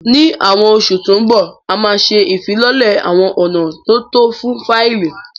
Ní Awon oṣù tó ń bọ̀, a máa ṣe ìfilọ́lẹ̀ àwọn ọ̀nà tó tọ́ fún fáìlì